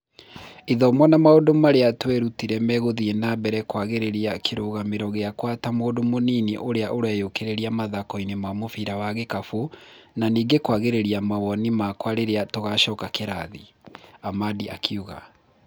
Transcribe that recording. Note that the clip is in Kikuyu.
Ithomo na maundũ marĩa twerutire magũthiĩ na mbere na kũagĩria kĩrũgamĩro gĩakwa ta mũndũ mũnini ũrĩa ũreyũkĩrĩria mũthakoinĩ wa mũbira wa gĩkabũ na ningĩ kũagĩria mawoni makwa rĩrĩa tũgacoka kĩrathi, 'Amadĩ akiuga.